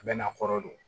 A bɛ n'a kɔrɔ don